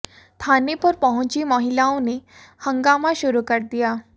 थाने पर पहुंची महिलाओं ने हंगामा शुरू कर दिया